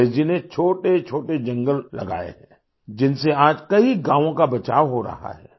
अमरेश जी ने छोटे छोटे जंगल लगाए हैं जिनसे आज कई गांवों का बचाव हो रहा है